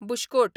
bush coat